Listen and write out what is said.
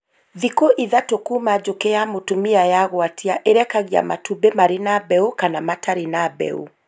Thikũ ithatũ kuuma njũkĩ ya mũtumia yagwatia ĩrekagia matumbĩ marĩ na mbeũ kana matarĩ na mbeũ